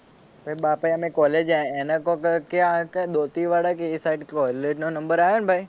પછી બાપા એ એને કોક કયા દાંતીવાડા કે એ સાઇડ કોલેજ નો નંબર આયો ને ભાઈ